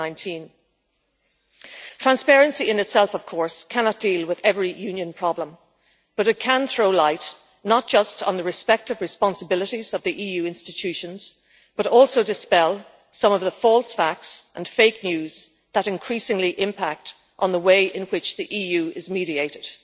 2019. Transparency in itself, of course, cannot deal with every Union problem, but it can throw light not just on the respective responsibilities of the EU institutions, but also dispel some of the false facts and fake news that increasingly impact on the way in which the EU is mediated,